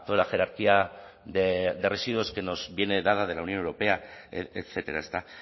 la jerarquía de residuos que nos viene dada de la unión europea etcétera ezta